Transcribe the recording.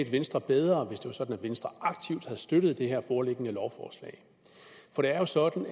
venstre bedre hvis det var sådan at venstre aktivt havde støttet det her foreliggende lovforslag for det er jo sådan